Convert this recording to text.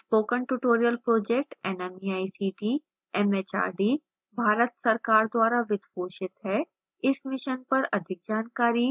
spoken tutorial project nmeict mhrd Bharat सरकार द्वारा वित्त पोषित है इस mission पर अधिक जानकारी